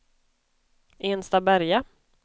Enstaberga